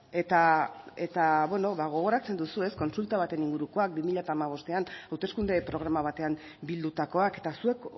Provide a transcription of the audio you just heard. eta gogoratzen duzu kontsulta baten ingurukoak bi mila hamabostean hauteskunde programa batean bildutakoak eta zuek